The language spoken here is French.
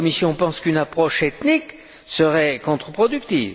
La Commission pense qu'une approche ethnique serait contreproductive.